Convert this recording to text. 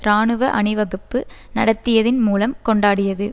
இராணுவ அணிவகுப்பு நடத்தியதின் மூலம் கொண்டாடியது